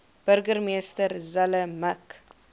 burgemeester zille mik